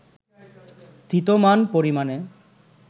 স্থিতমান পরিমাণে